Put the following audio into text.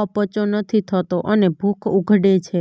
અપચો નથી થતો અને ભૂખ ઉઘડે છે